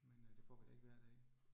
Men øh det får vi da ikke hver dag